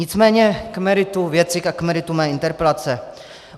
Nicméně k meritu věci a k meritu mé interpelace.